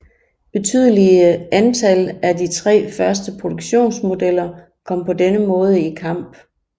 Betydelige antal af de tre første produktionsmodeller kom på denne måde i kamp